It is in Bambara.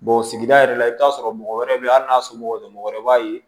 sigida yɛrɛ la i bɛ taa sɔrɔ mɔgɔ wɛrɛw bɛ yen hali n'a somɔgɔw wɛrɛ b'a ye